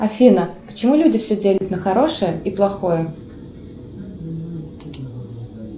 афина почему люди все делят на хорошее и плохое